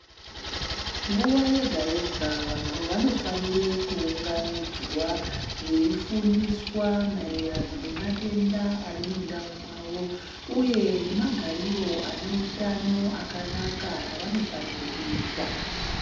Nguwa yega yega vanhu vanofanire kuunganidzwa veifundiswa maererano nematenda arimundau mwavo uye nemagariro aneutano akanaka avanofanire kuita.